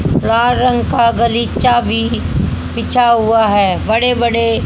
लाल रंग का गलीचा भी बिछा हुआ है बड़े बड़े--